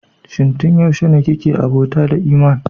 Shin tun yaushe ne kike abota da Eeman?